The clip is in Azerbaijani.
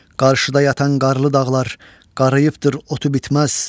Qarşıda yatan qarlı dağlar qarıyıbdır, otu bitməz.